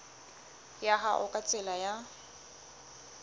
ya hao ka tsela ya